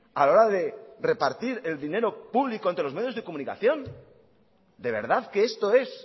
a la hora de repartir el dinero público entre los medios de comunicación de verdad que esto es